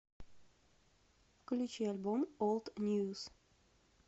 включи альбом олд ньюс